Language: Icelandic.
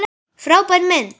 Frábær mynd!